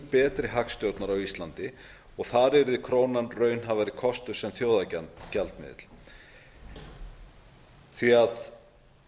betri hagstjórnar og þar yrði krónan raunhæfari kostur sem þjóðargjaldmiðill því að